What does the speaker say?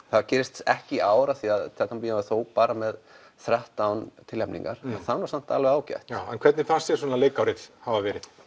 það gerist ekki í ár því Tjarnarbíó er þó bara með þrettán tilnefningar en það er samt alveg ágætt já en hvernig finnst þér leikárið hafa verið